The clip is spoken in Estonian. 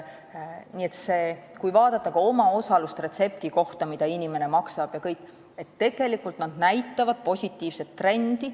Nii et kui vaadata omaosalust retsepti kohta, mida inimene maksab, siis see kõik näitab positiivset trendi.